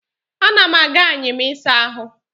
Ana m aga anyịm ịsa ahụ